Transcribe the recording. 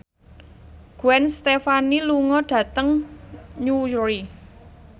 Gwen Stefani lunga dhateng Newry